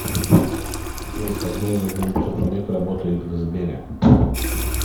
джой как долго голубцов олег работает в сбере